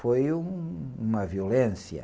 Foi um, uma violência.